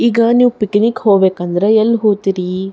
ಈಗ ನೀವು ಪಿಕ್ನಿಕ್ ಹೋಗಬೇಕಂದ್ರೆ ಎಲ್ಲಿ ಹೋತ್ತೀರಿ.